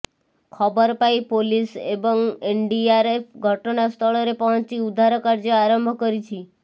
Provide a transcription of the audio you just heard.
ଖବର ପାଇ ପୋଲିସ ଏବଂ ଏନଡିଆରଏଫ ଘଟଣାସ୍ଥଳରେ ପହଞ୍ଚି ଉଦ୍ଧାର କାର୍ଯ୍ୟ ଆରମ୍ଭ କରିଛି